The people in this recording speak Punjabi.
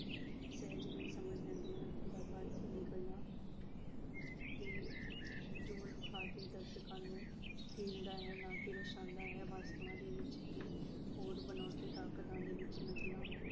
ਸਹਿਜ ਹੀ ਸਮਝ ਲੈਂਦੇ ਹਨ। ਅਦਾਕਾਰ ਆਪਣੀ ਕਲਾ ਦੇ ਜੋਰ ਵਿਖਾ ਕੇ ਦਰਸ਼ਕਾਂ ਨੂੰ ਕੀਲਦਾ ਹੈ ਨਾ ਕਿ ਰੁਸਾਉਂਦਾ ਹੈ ਵਸਤਾਂ ਦੇ ਵਿੱਚ ਹੀ ਹੋਰ ਬਨਾਉਟੀ ਤਾਕਤਾਂ ਦੇ ਵਿੱਚ ਨਕਲਾਂ